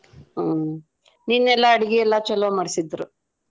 ಹ್ಮ್ ನಿನ್ನೆಲ್ಲಾ ಅಡಗಿ ಎಲ್ಲಾ ಚೊಲೋ ಮಾಡ್ಸಿದ್ರ್.